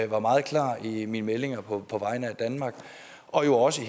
var meget klar i mine meldinger på vegne af danmark og jo også